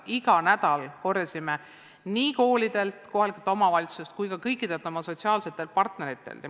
Kogusime igal nädalal tagasisidet nii koolidelt, kohalikelt omavalitsustelt kui ka kõikidelt oma sotsiaalsetelt partneritelt.